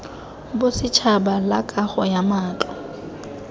bosetšhaba la kago ya matlo